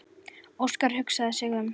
Óskar hugsaði sig um.